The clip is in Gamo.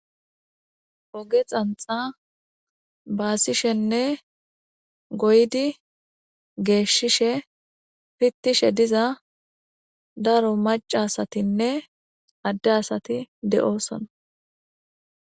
Oge xanxxa baasishenne goyidi geeshshishe pittishe diza daro macca asatinne adde asati de'osonna.